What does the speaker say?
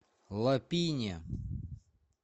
лапине